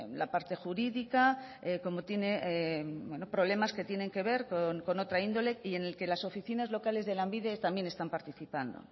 la parte jurídica como tiene problemas que tienen que ver con otra índole y en el que las oficinas locales de lanbide también están participando